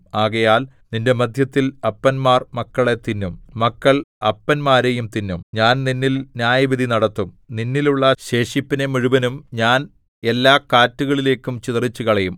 ആകയാൽ നിന്റെ മദ്ധ്യത്തിൽ അപ്പന്മാർ മക്കളെ തിന്നും മക്കൾ അപ്പന്മാരെയും തിന്നും ഞാൻ നിന്നിൽ ന്യായവിധി നടത്തും നിന്നിലുള്ള ശേഷിപ്പിനെ മുഴുവനും ഞാൻ എല്ലാ കാറ്റുകളിലേക്കും ചിതറിച്ചുകളയും